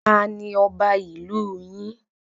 Tanu ọba ìlú yin?